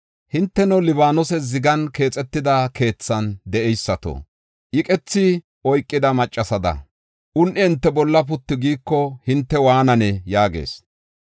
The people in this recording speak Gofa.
Hinteno, Libaanose zigan keexetida keethan de7eysato, iqethi oykida maccasada un7i hinte bolla puttu giiko hinte waananee?” yaagees.